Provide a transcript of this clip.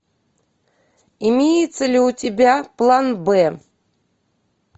имеется ли у тебя план б